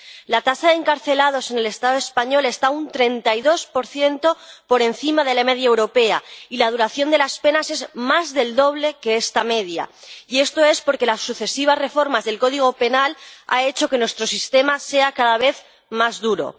La tasa de encarcelados en el Estado español está un 32 por encima de la media europea, y la duración de las penas es más del doble que esta media, y esto es porque las sucesivas reformas del Código Penal han hecho que nuestro sistema sea cada vez más duro.